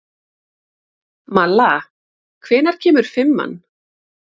Malla, hvenær kemur fimman?